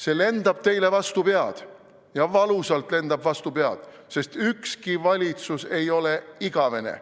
See lendab teile vastu pead – ja valusalt lendab vastu pead, sest ükski valitsus ei ole igavene.